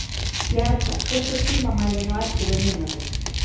Jarla, stilltu tímamælinn á ellefu mínútur.